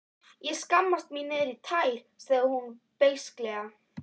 Ég skammast mín niðrí tær, sagði hún beisklega.